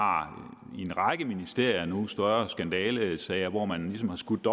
i en række ministerier nu større skandalesager hvor man ligesom har skudt